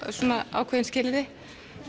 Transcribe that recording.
ákveðin skilyrði